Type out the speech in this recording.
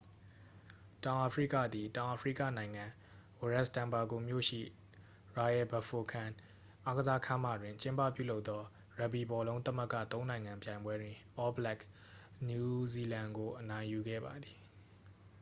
တောင်အာဖရိကသည် တောင်အာဖရိကနိုင်ငံ၊ ဝရက်စ်တန်ဘာဂိုမြို့ရှိ royal bafokeng အားကစားခန်းမတွင် ကျင်းပပြုလုပ်သော ရပ်ဘီဘောလုံးသမဂ္ဂ သုံးနိုင်ငံပြိုင်ပွဲတွင် all blacks နယူးဇီလန် ကို အနိုင်ယူခဲ့ပါသည်။